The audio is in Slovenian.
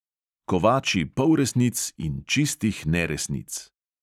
Kovači polresnic in čistih neresnic.